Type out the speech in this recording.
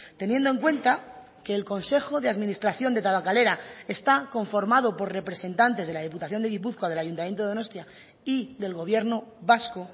teniendo en cuenta que el consejo de administración de tabakalera está conformado por representantes de la diputación de gipuzkoa del ayuntamiento de donostia y del gobierno vasco